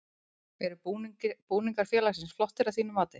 Eru búningar félagsins flottir að þínu mati?